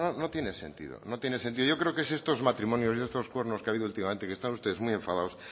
no tiene sentido no tiene sentido yo creo que si estos matrimonios y estos cuernos que ha habido últimamente que están ustedes muy enfadados